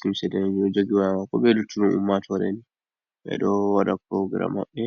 limse danejum, ɓe luttudu ummatore ni, ɓe ɗo wada program mabbe.